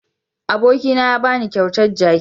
Abokina ya ba ni kyautar jaki.